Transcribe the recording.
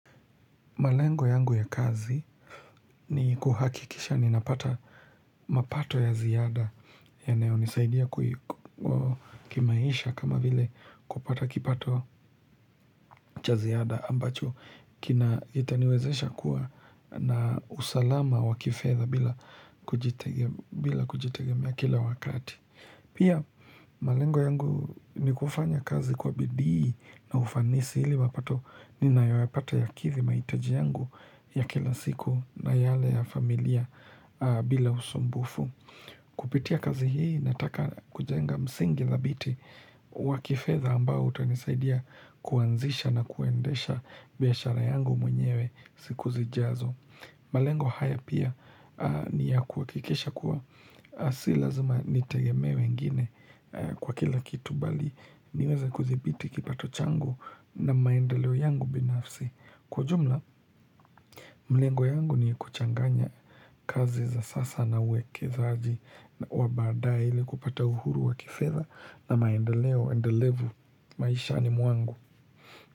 Malengo yangu ya kazi ni kuhakikisha ninapata mapato ya ziada yanayonisaidia kimaisha kama vile kupata kipato cha ziada ambacho kiitaniwezesha kuwa na usalama wa kifedha bila kujitegemia kila wakati. Pia malengo yangu ni kufanya kazi kwa bidii na ufanisi ili mapato ninayoyapata yakidhi mahitaji yangu ya kila siku na yale ya familia bila usumbufu. Kupitia kazi hii nataka kujenga msingi dhabiti wakifedha ambao utanisaidia kuanzisha na kuendesha biashara yangu mwenyewe siku zijazo. Malengo haya pia niya kuhakikisha kuwa Si lazima nitegemee wengine kwa kila kitu bali niweze kudhibiti kipato chango na maendeleo yangu binafsi Kwa jumla, malengo yangu ni kuchanganya kazi za sasa na uwekezaji Wabadaae ili kupata uhuru wa kifedha na maendeleo endelevu maishani mwangu.